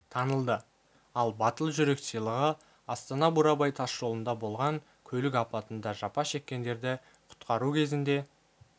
танылды ал батыл жүрек сыйлығы астана-бурабай тас жолында болған көлік апатында жапа шеккендерді құтқару кезінде